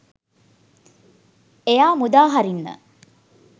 එයා මුදා හරින්න